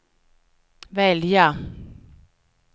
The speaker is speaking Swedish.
välja